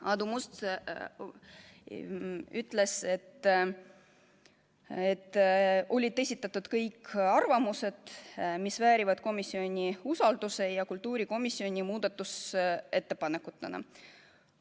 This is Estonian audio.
Aadu Must ütles, et on esindatud kõik arvamused, mis väärivad komisjoni usaldust, need on esitatud kultuurikomisjoni muudatusettepanekutena.